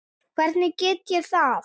Hvernig geri ég það?